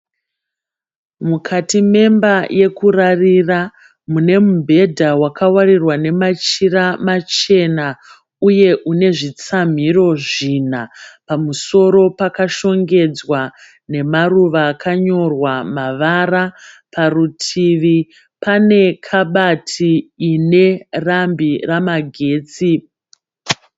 Mukati memba yekurarira mune mubhedha wakawarirwa nemachira machena uye une zvitsamhiro zvina. Pamusoro pakashongedza nemaruva akanyorwa mavara. Parutivi pane kabati ine rambi ramagetsi.